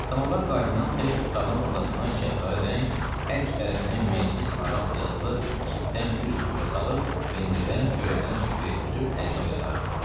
Samovar qaynayan tək otağın ortasına çəhrayı rəng, hər iki tərəfinə məclis aras yazılı çitdən bir süfrə salıb, pendirdən, çörəkdən süfrəyə düzüb, ərinə oyadardı.